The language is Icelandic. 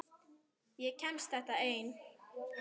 Ég kemst þetta einn.